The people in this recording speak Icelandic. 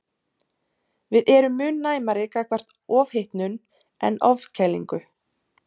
Við erum mun næmari gagnvart ofhitnun en ofkælingu.